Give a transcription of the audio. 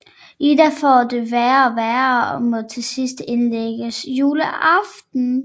Ida får det værre og være og må til sidst indlægges juleaften